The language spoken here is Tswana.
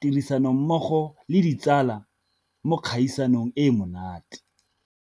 tirisanommogo le ditsala mo dikgaisanong e e monate.